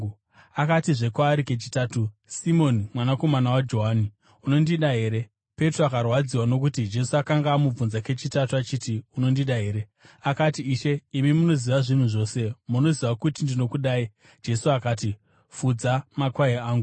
Akatizve kwaari kechitatu, “Simoni mwanakomana waJohani, unondida here?” Petro akarwadziwa nokuti Jesu akanga amubvunza kechitatu achiti, “Unondida here?” Akati, “Ishe, imi munoziva zvinhu zvose; munoziva kuti ndinokudai.” Jesu akati, “Fudza makwai angu.